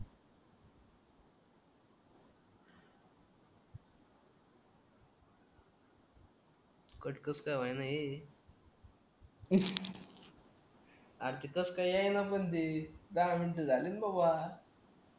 कस काय होईल रे किती वाजता येईपण ते दहा मिनिटं झाली ना बुआ